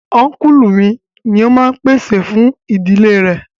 Únkùlù mi ni o máa n pèsè fún ìdílé rẹ̀